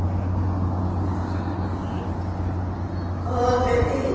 ਹੋਰ ਫੇਰ ਦੀਦੀ